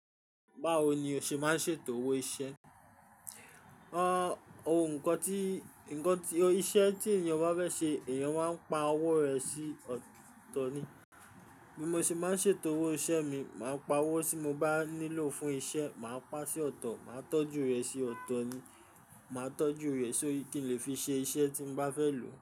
Báwo ni o ṣe máa ń ṣètò owó iṣẹ́? Ohun kan tí, ǹkan tí, iṣẹ́ tí èèyàn bá fẹ́ ṣe, èèyàn máa ń pa owó rẹ̀ sí ọ̀tọ̀ ni. Bí mo ṣe máa ń ṣètò owó iṣẹ́ mi, màá pa owó tí mo bá nílò fún iṣẹ́, màá pá sí ọ̀tọ̀, màá tọ́jú rẹ̀ sí ọ̀tọ̀ ni. Màá tọ́jú rẹ̀ sórí kí n lè fi ṣe iṣẹ́ tí n bá fẹ́ lò.